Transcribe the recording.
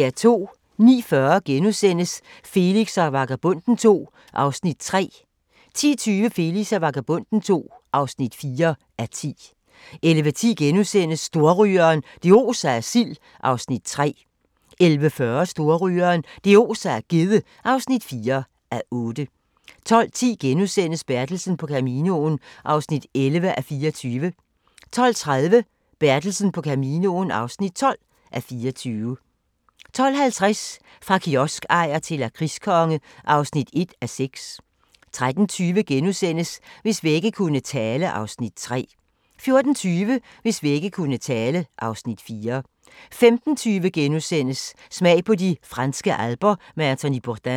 09:40: Felix og Vagabonden II (3:10)* 10:25: Felix og Vagabonden II (4:10) 11:10: Storrygeren – det oser af sild (3:8)* 11:40: Storrygeren – det oser af gedde (4:8) 12:10: Bertelsen på Caminoen (11:24)* 12:30: Bertelsen på Caminoen (12:24) 12:50: Fra kioskejer til lakridskonge (1:6) 13:20: Hvis vægge kunne tale (Afs. 3)* 14:20: Hvis vægge kunne tale (Afs. 4) 15:20: Smag på de franske alper med Anthony Bourdain *